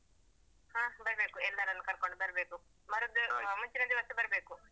ಹಾ ಬರ್ಬೇಕು ಎಲ್ಲರನ್ನು ಕರ್ಕೋಂಡು ಬರ್ಬೇಕು ಮರದ್ದು ಆ ಮುಂಚಿನ ದಿವಸ ಬರ್ಬೇಕು.